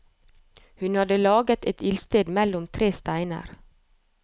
Hun hadde laget et ildsted mellom tre steiner.